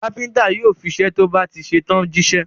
Kápẹ́ńtà yóò fiṣẹ́ tó bá ti ṣe tán jíṣẹ́.